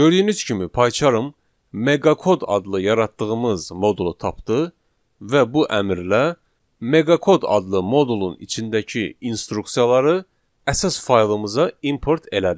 Gördüyünüz kimi Pycharm Meqakod adlı yaratdığımız modulu tapdı və bu əmrlə Meqakod adlı modulun içindəki instruksiyaları əsas faylımıza import elədi.